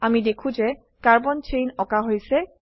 আমি দেখো যে কার্বন চেন আকা হৈছে